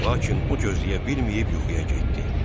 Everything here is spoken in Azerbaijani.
Lakin o gözləyə bilməyib yuxuya getdi.